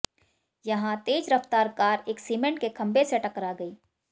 यहां तेज रफ्तार कार एक सिमेंट के खंबे से टकरा गई